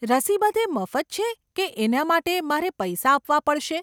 રસી બધે મફત છે કે એના માટે મારે પૈસા આપવા પડશે?